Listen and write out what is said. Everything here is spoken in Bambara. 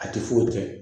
A ti foyi tiɲɛ